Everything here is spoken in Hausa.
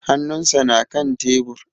Hanun sa na kan tebur